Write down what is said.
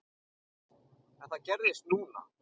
En það gerðist núna.